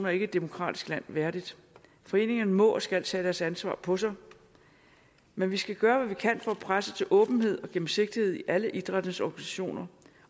er ikke et demokratisk land værdigt foreningerne må og skal tage deres ansvar på sig men vi skal gøre hvad vi kan for at presse til åbenhed og gennemsigtighed i alle idrættens organisationer